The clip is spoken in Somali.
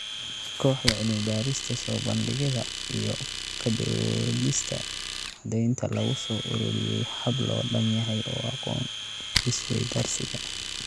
Kooxda cilmi-baarista, soo bandhigidda iyo ka doodista caddaynta lagu soo ururiyay hab loo dhan yahay oo aqoon isweydaarsiga.